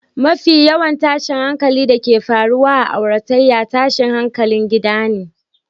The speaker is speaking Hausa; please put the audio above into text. Mafi yawan tashin hankalin da ke faruwa a auratayya, tashin hankalin gida ne